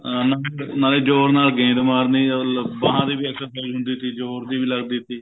ਹਾਂ ਨਾਲੇ ਜੋ ਉਹਨੇ ਨੇ ਗੇਂਦ ਮਾਰਨੀ ਉਹ ਬਾਹ ਦੇ ਵੀ exercise ਹੁੰਦੀ ਸੀ ਜੋਰ ਦੀ ਵੀ ਲੱਗਦੀ ਸੀ